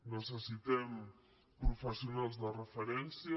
necessitem professionals de referència